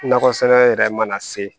Nakɔ sɛnɛ yɛrɛ mana se